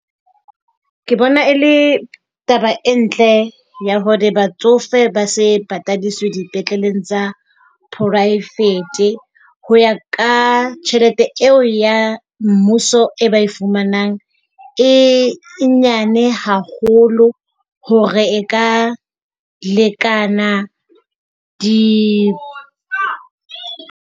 Ke bona e le taba e ntle ya hore batsofe ba se patadiswe dipetleleng tsa poraevete. Ho ya ka tjhelete eo ya mmuso eo ba e fumanang e nyane haholo hore e ka lekana di .